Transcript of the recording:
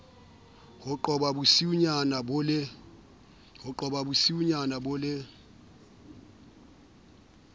ho qhoba bosiunyana bo le